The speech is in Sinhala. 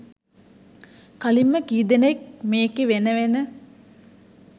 කලින්ම කී දෙනෙක් මේකේ වෙන වෙන